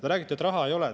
Te räägite, et raha ei ole.